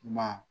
Ma